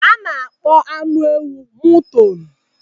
A na-akpọ anụ ewu mụton.